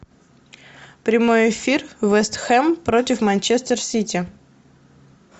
прямой эфир вест хэм против манчестер сити